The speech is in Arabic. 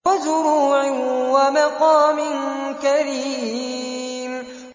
وَزُرُوعٍ وَمَقَامٍ كَرِيمٍ